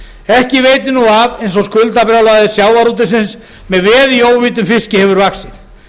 ekki veitir af eins og skuldabrjálæði sjávarútvegsins með veð í óveiddum fiski hefur vaxið